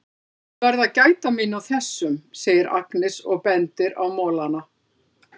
Ég verð að gæta mín á þessum, segir Agnes og bendir á molana.